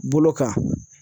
Bolo kan.